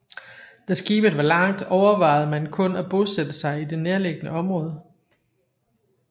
Da skibet var langt overvejede man kun at bosætte sig i det nærliggende område